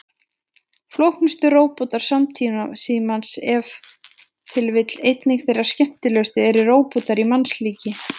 Flóknustu róbótar samtímans, en ef til vill einnig þeir skemmtilegustu, eru róbótar í mannslíki.